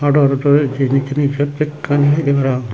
ado ado tarey ejji henekey riksot bekani ageydey para pang.